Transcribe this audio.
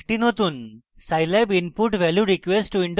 একটি নতুন scilab input value request window খুলবে